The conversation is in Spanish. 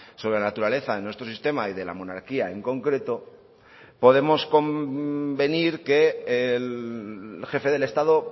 sobre la naturaleza de nuestro sistema y de la monarquía en concreto podemos convenir que el jefe del estado